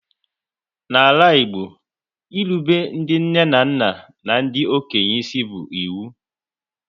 N'ala Igbo, irube ndị nne na nna n'ndi okenye isi bu ịwu